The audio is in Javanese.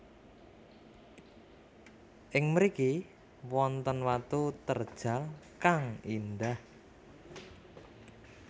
Ing mriki wonten watu terjal kang indah